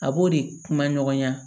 A b'o de kuma ɲɔgɔnya